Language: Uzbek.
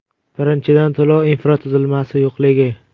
Birinchidan, to‘lov infratuzilmasi yo‘qligi .